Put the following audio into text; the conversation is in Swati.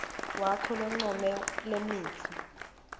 wakho loncome lemitsi